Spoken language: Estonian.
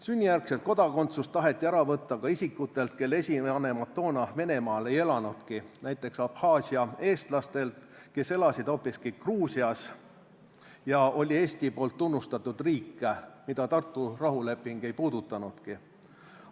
Sünnijärgset kodakondsust taheti ära võtta ka isikutelt, kelle esivanemad toona Venemaal ei elanudki, näiteks Abhaasia eestlastelt, kes elasid hoopiski Gruusias, mis oli Eesti poolt tunnustatud riik, mida Tartu rahuleping ei puudutanudki.